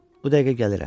Bu dəqiqə gəlirəm.